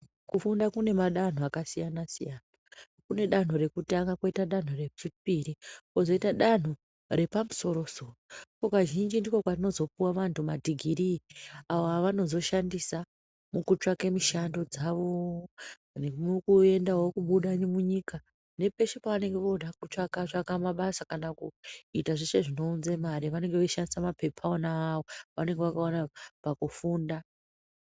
Kumunda kunemadanho akasiyana-siyana kunedanho rekutanga kwoita danho rechipiri kwozoita danho repamusoro-soro kazhinji ndikwo kunozopuwa vanhu madhogirii avovanozoshandisa mukutsvaka mushando dzavo peposhe pavanenge voda kubuda munyikane nepeshe pavanenge voda kubuda munyika.